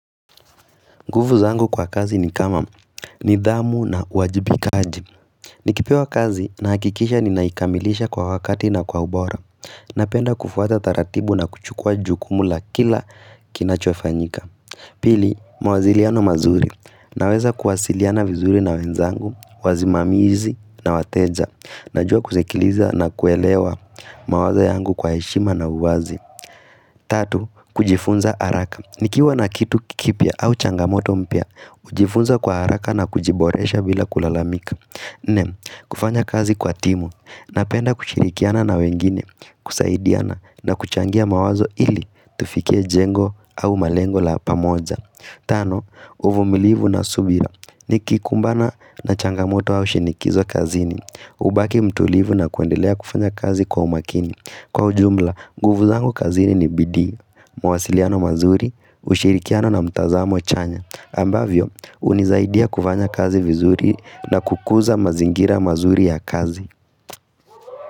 Nguvu zangu kwa kazi ni kama ni dhamu na wajibi kaji. Nikipewa kazi na hakikisha ni naikamilisha kwa wakati na kwa ubora. Napenda kufuata taratibu na kuchukua jukumu la kila kinachofanyika. Pili, mawaziliano mazuri. Naweza kuwasiliana vizuri na wenzangu, wazimamizi na wateja. Najua kusekiliza na kuelewa mawazo yangu kwa heshima na uwazi. Tatu, kujifunza araka. Nikiwa na kitu kikipya au changamoto mpya. Jifunza kwa haraka na kujiboresha bila kulalamika nne, kufanya kazi kwa timu Napenda kushirikiana na wengine kusaidiana na kuchangia mawazo ili Tufikie jengo au malengo la pamoja Tano, uvu milivu na subira ni kikumbana na changamoto au shinikizo kazini hubaki mtulivu na kuendelea kufanya kazi kwa umakini Kwa ujumla, nguvu zangu kazini ni bidii mawasiliano mazuri, ushirikiano na mtazamo chanya ambavyo, unizaidia kuvanya kazi vizuri na kukuza mazingira mazuri ya kazi.